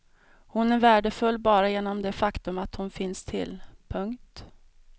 Hon är värdefull bara genom det faktum att hon finns till. punkt